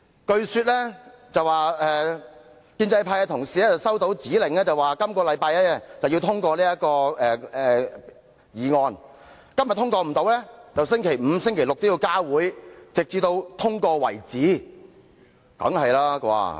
據聞建制派同事收到指令，須於本周通過這項議案，如本周未能通過，則星期五或六便要加開會議，直至通過為止。